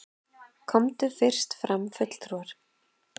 Komu fyrst fram fulltrúar